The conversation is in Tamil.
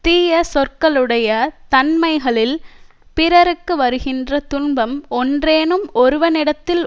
தீய சொற்களுடைய தன்மைகளில் பிறருக்கு வருகின்ற துன்பம் ஒன்றேனும் ஒருவனிடத்தில்